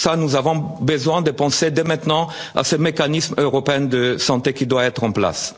Pour cela, nous avons besoin de penser dès maintenant à ce mécanisme européen de santé qui doit être